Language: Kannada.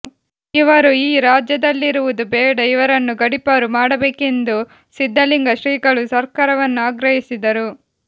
ಇವರು ಈ ರಾಜ್ಯದಲ್ಲಿರುವುದು ಬೇಡ ಇವರನ್ನು ಗಡಿಪಾರು ಮಾಡಬೇಕೆಂದು ಸಿದ್ದಲಿಂಗ ಶ್ರೀಗಳು ಸರ್ಕಾರವನ್ನು ಆಗ್ರಹಿಸಿದರು